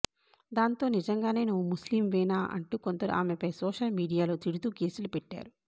దాంతో నిజంగానే నువ్వు ముస్లింవేనా అంటూ కొందరు ఆమెపై సోషల్ మీడియాలో తిడుతూ పోస్టులు పెట్టారు